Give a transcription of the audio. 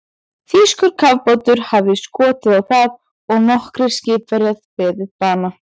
Þýskur kafbátur hafði skotið á það og nokkrir skipverjar beðið bana.